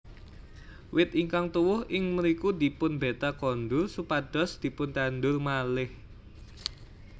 Wit ingkang tuwuh ing mriku dipunbeta kondur supados dipuntandur malih